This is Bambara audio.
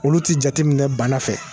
Olu tɛ jateminɛ bana fɛ